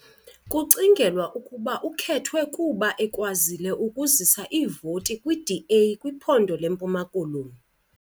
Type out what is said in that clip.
Kucingelwa ukuba ukhethwe kuba ekwazile ukuzisa iivoti kwiDA kwiphondo leMpuma Koloni .